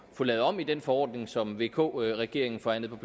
at få lavet om i den forordning som vk regeringen forhandlede